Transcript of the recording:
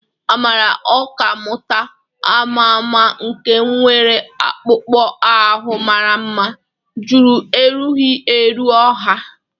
Amara, ọkà mmụta ama ama nke nwere akpụkpọ ahụ mara mma, jụrụ erughị eru ọha.